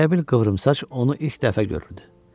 Elə bil qıvrımsaç onu ilk dəfə görürdü.